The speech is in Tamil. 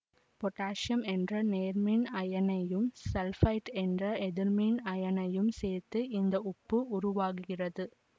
பொட்டாசியம் என்ற நேர்மின் அயனையும் சல்பைட்டு என்ற எதிர்மின் அயனையும் சேர்ந்து இந்த உப்பு உருவாகிறது